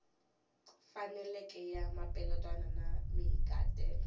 faneleke ya mapeletelo na mahikahatelo